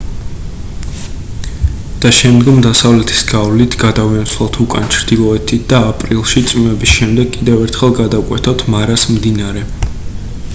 და შემდგომ დასავლეთის გავლით გადავინაცვლოთ უკან ჩრდილოეთით და აპრილში წვიმების შემდეგ კიდევ ერთხელ გადავკვეთოთ მარას მდინარე